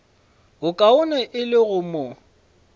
bokaone e le go mo